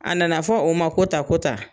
A nana fɔ u ma ko tan ko tan